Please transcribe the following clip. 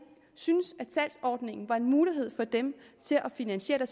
syntes at salgsordningen var en mulighed for dem til at finansiere